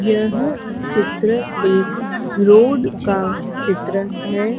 यह चित्र एक रोड़ का चित्र है।